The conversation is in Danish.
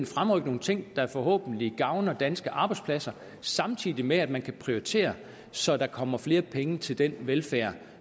fremrykke nogle ting der forhåbentlig gavner danske arbejdspladser samtidig med at man kan prioritere så der kommer flere penge til den velfærd